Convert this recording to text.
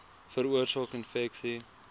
veroorsaak infeksie